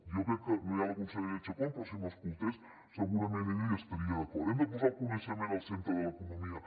jo crec que no hi ha la consellera chacón però si m’escoltés segurament ella hi estaria d’acord hem de posar el coneixement al centre de l’economia